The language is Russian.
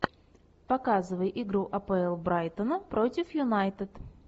показывай игру апл брайтона против юнайтед